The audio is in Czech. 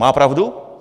Má pravdu?